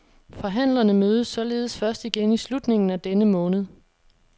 Forhandlerne mødes således først igen i slutningen af denne måned.